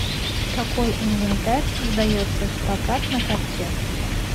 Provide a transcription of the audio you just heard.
какой инвентарь сдается в прокат на катке